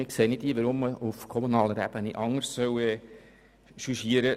Wir sehen nicht ein, weshalb man die Situation auf kommunaler Ebene anders beurteilen sollte.